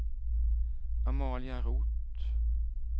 Amalia Roth